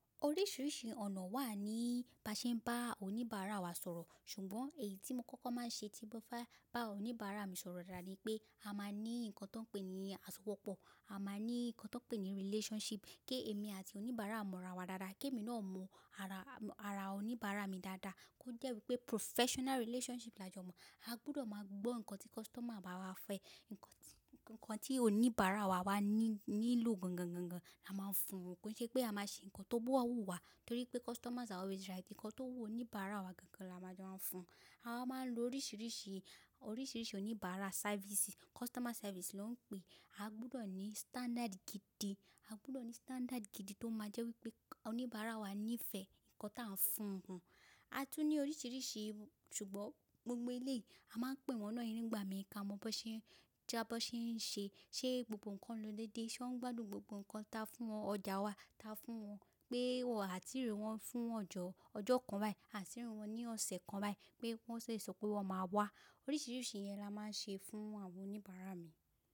Oríṣiríṣi ọ̀nà wà ní baṣe ń bá oníbàárà wa sọ̀rọ̀, ṣùgbọ́n èyí tí mo kọ́kọ́ máa ń ṣe tí mo bá fẹ́ bá oníbàárà mi sọ̀rọ̀ dáadáa ni pé a máa ní nǹkan ti wón pé ni aṣọwọ́pọ̀, a máa ní nǹkan ti won pé ni relationship kí èmi àti oníbàárà mọ ara wa dáadáa, kí èmi náà mọ oníbàárà mi dáadáa kó jẹ́ wípé professional relationship la jọ mọ̀. A gbọdọ̀ máa gbọ́ ǹkan tí customer bá wa fẹ́, ǹkan tí oníbàárà wa bá ní nílò gangan la máa ń fún won, kó n ṣe pé a máa ṣe ǹkan tó bá wùwá torí pé customers are always right. Ǹkan tó wu oníbàárà wa gangan la máa máa ń fún. A máa ń lo oríṣiríṣi oníbàárà sáfìsì, customer service ló ń pé. A gbọdọ̀ ní standard gidi tó máa jẹ́ wípé oníbàárà wa nífẹ̀ẹ́ ǹkan tí à ń fún un. A tún ní oríṣiríṣi, ṣùgbọ́n gbogbo eléyii a máa n pè wọ́n náà nígbà mìíràn ká mọ bi wón ṣe ń ṣe, ṣe gbogbo ǹkan ń lọ dédé, ṣé wọ́n gbádùn gbogbo ǹkan ta fún wọn, ọjà ta fún wọn pé á tii rí wọ́n fún ọjọ́ kan báyìí, á tii rí wọ́n ní ọ̀sẹ̀ kan báyìí pé wọ́n ṣe sopé wọ́n máa wá. Oríṣiríṣi yẹn la máa ń ṣe fún àwọn oníbàárà mi.